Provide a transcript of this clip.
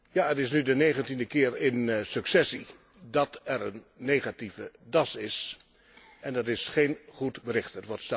Ja, het is nu de negentiende keer in successie dat er een negatieve DAS is en dat is geen goed bericht.